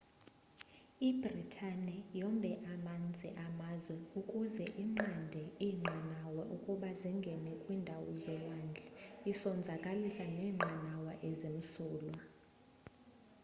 ibritani yombe amanzi amazwe ukuze inqande iinqanawe ukuba zingene kwiindawo zolwandle isonzakalisa neenqanawa ezimsulwa